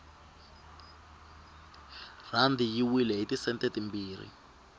rhandi yi wile hiti sente timbirhi